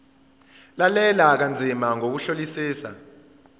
lalela kanzima ngokuhlolisisa